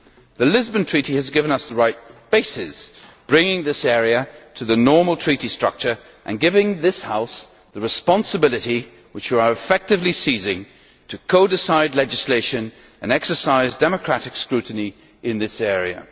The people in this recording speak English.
The Lisbon Treaty has given us the right basis by bringing this area into the normal Treaty structure, and giving this House the responsibility which you are effectively seizing, to co decide legislation and exercise democratic scrutiny in this area.